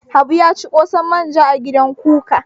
Habu ya ci ƙosan manja a gidan kuka.